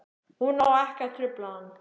Hún á ekki að trufla hann.